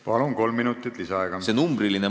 Palun, kolm minutit lisaaega!